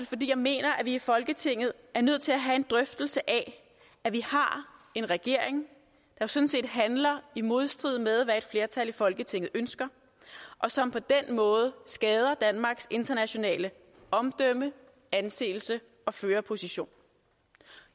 fordi jeg mener at vi i folketinget er nødt til at have en drøftelse af at vi har en regering der sådan set handler i modstrid med hvad et flertal i folketinget ønsker og som på den måde skader danmarks internationale omdømme anseelse og førerposition